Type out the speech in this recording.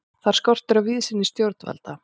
Þar skortir á víðsýni stjórnvalda.